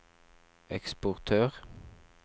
eksportør